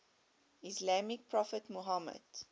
islamic prophet muhammad